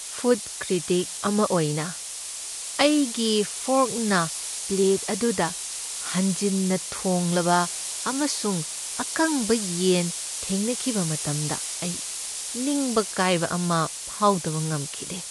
Food critic ꯑꯃ ꯑꯣꯏꯅ, ꯑꯩꯒꯤ ꯐꯣꯔꯛꯅ ꯄ꯭ꯂꯦꯠ ꯑꯗꯨꯗ ꯍꯦꯟꯖꯤꯟꯅ ꯊꯣꯡꯂꯕ ꯑꯃꯁꯨꯡ ꯑꯀꯪꯕ ꯌꯦꯟ ꯊꯦꯡꯅꯈꯤꯕ ꯃꯇꯝꯗ ꯑꯩ ꯅꯤꯡꯕ ꯀꯥꯏꯕ ꯑꯃ ꯐꯥꯎꯗꯕ ꯉꯝꯈꯤꯗꯦ꯫